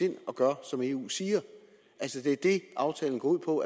ind og gør som eu siger det er det aftalen går ud på